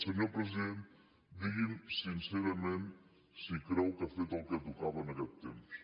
senyor president digui’m sincerament si creu que ha fet el que tocava en aquest temps